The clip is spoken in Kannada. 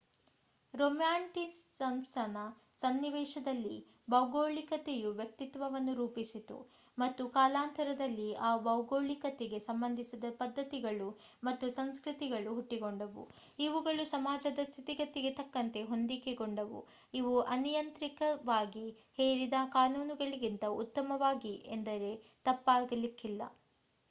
ರೊಮ್ಯಾಂಟಿಸಿಸಂನ ಸನ್ನಿವೇಶದಲ್ಲಿ ಭೌಗೋಳಿಕತೆಯು ವ್ಯಕ್ತಿತ್ವಗಳನ್ನು ರೂಪಿಸಿತು ಮತ್ತು ಕಾಲಾನಂತರದಲ್ಲಿ ಆ ಭೌಗೋಳಿಕತೆಗೆ ಸಂಬಂಧಿಸಿದ ಪದ್ಧತಿಗಳು ಮತ್ತು ಸಂಸ್ಕೃತಿಗಳು ಹುಟ್ಟಿಕೊಂಡವು ಇವುಗಳು ಸಮಾಜದ ಸ್ಥಿತಿಗತಿಗೆ ತಕ್ಕಂತೆ ಹೊಂದಿಕೆಗೊಂಡವು ಇವು ಅನಿಯಂತ್ರಿತವಾಗಿ ಹೇರಿದ ಕಾನೂನುಗಳಿಗಿಂತ ಉತ್ತಮವಾಗಿವೆ ಎಂದರೆ ತಪ್ಪಾಗಿಲಿಕ್ಕಿಲ್ಲ